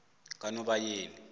kanobayeni